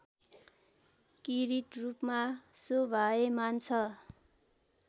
किरीटरूपमा शोभायमान छ